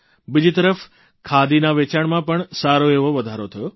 બીજી તરફ ખાદીના વેચાણમાં પણ સારો એવો વધારો થયો